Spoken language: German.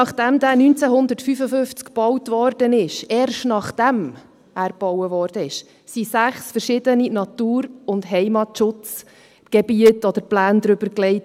Nachdem er 1955 gebaut wurde – erst, nachdem er gebaut wurde –, wurden sechs verschiedene Natur- und Heimatschutzgebiete oder -pläne darübergelegt.